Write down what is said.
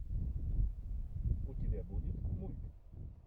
у тебя будет мульт